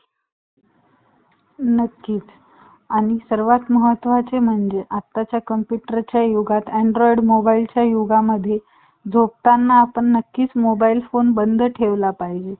एखांदा असला तर तेवढं बघा.